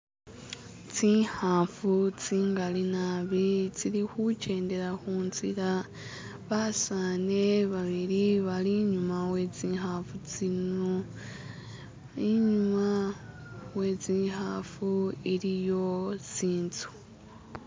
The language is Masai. Zinkaafu zingaali naabi zili kujendela kunzila. Baseza babili bali inyuma wezikafu zino. Inyuma wezikafu iliyo zinzu.